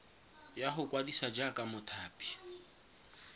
ya go ikwadisa jaaka mothapi